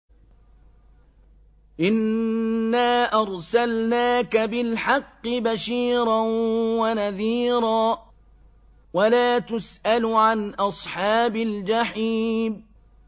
إِنَّا أَرْسَلْنَاكَ بِالْحَقِّ بَشِيرًا وَنَذِيرًا ۖ وَلَا تُسْأَلُ عَنْ أَصْحَابِ الْجَحِيمِ